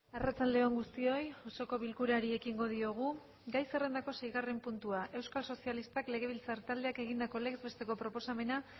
arratsalde on guztioi osoko bilkurari ekingo diogu gai zerrendako seigarren puntua euskal sozialistak legebiltzar taldeak egindako legez besteko proposamena